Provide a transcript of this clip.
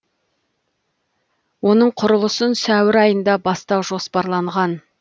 оның құрылысын сәуір айында бастау жоспарланған